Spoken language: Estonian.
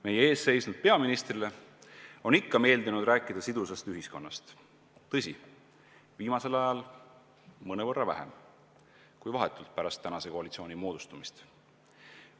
Meie ees seisnud peaministrile on ikka meeldinud rääkida sidusast ühiskonnast, tõsi, viimasel ajal mõnevõrra vähem kui vahetult pärast tänase koalitsiooni moodustumist.